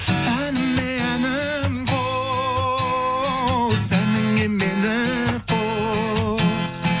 әніме әнің қос әніңе мені қос